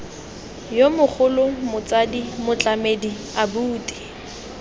yo mogolo motsadi motlamedi abuti